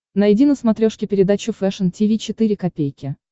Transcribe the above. найди на смотрешке передачу фэшн ти ви четыре ка